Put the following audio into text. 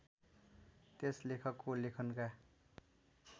त्यस लेखकको लेखनका